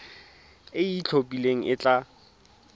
e e itlhophileng e tla